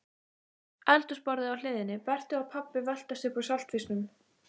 Eldhúsborðið á hliðinni, Berti og pabbi veltast upp úr saltfisknum